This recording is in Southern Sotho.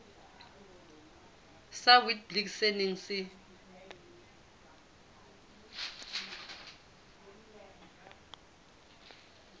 sa witblits se neng se